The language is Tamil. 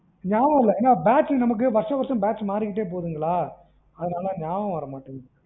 நியாபகம் இல்ல ஏன்னா batch நமக்கு batch வருஷம் வருஷம் மாறிக்கிட்டே போகுதுங்களா அதனால நியாபகம் வரமாட்டிங்குது.